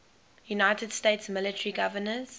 united states military governors